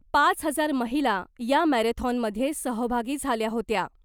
पाच हजार महिला या मॅरेथॉनमध्ये सहभागी झाल्या होत्या .